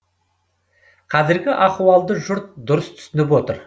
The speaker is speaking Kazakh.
қазіргі ахуалды жұрт дұрыс түсініп отыр